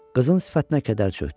Qızın sifətinə kədər çökdü.